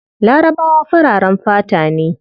Larabawa fararen fata ne